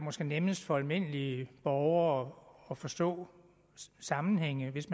måske nemmest for almindelige borgere at forstå sammenhænge hvis